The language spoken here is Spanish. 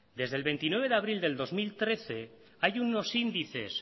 desde el veintinueve de abril del dos mil trece hay unos índices